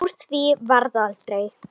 Úr því varð aldrei.